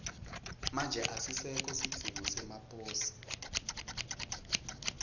manje asisekho sidzingo semaposi